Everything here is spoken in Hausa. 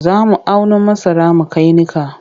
Za mu auno masara mu kai niƙa.